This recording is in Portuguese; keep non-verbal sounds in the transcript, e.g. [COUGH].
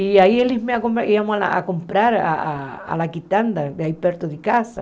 E aí eles me acom iam comprar a [UNINTELLIGIBLE] perto de casa.